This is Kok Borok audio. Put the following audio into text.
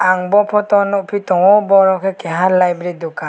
ang bo photo nogphi tango boro ke keha liberty dokan.